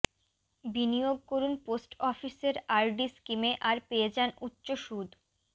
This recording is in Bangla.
বিনিয়োগ করুন পোস্ট অফিসের আর ডি স্কিমে আর পেয়ে যান উচ্চ সুদ